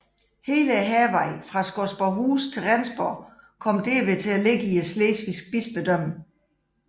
Hele Hærvejen fra Skodborghus til Rendsborg kom derved til at ligge i Slesvig Bispedømme